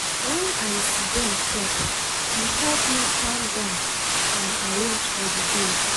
when i siddon chop e help me calm down and arrange for the day.